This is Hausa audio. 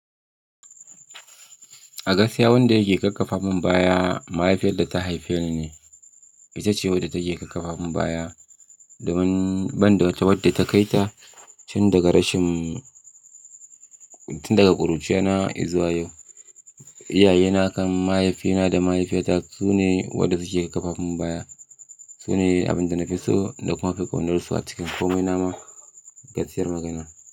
A gaskiya wanda yake ƙarfafa mun baya mahaifiyar da ta haife ni ne. Ita ce wadda take ƙarfafa mun baya, domin ban da wadda ta kai ta tun daga rashin-- tun daga ƙuruciyara na izuwa yau, iyaye na kan mahaifina da mahaifiyata su ne waɗanda suke ƙarfafa mun baya. Su ne abin da na fi so na kuma fi ƙaunar su a cikin komai nama gaskiyar magana.